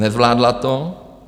Nezvládla to.